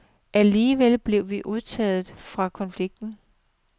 Alligevel blev vi undtaget fra konflikten.